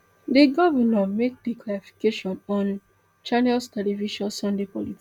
di govnor make di clarification on channels television sunday politics